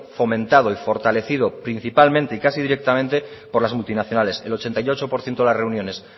fomentado y fortalecido principalmente y casi directamente por las multinacionales el ochenta y ocho por ciento de las reuniones